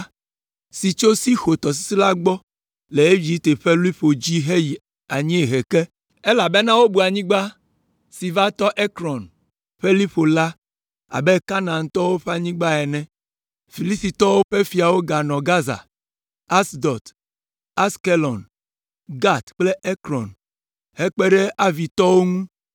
si tso Sixor tɔsisi la gbɔ le Egipte ƒe liƒo dzi heyi anyiehe ke, elabena wobu anyigba si va tɔ Ekron ƒe liƒo la abe Kanaantɔwo ƒe anyigba ene. Filistitɔwo ƒe fiawo nɔ Gaza, Asdod, Askelon, Gat kple Ekron; hekpe ɖe Avitɔwo ŋu